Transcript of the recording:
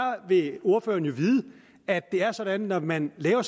vil ordføreren jo vide at det er sådan at når man laver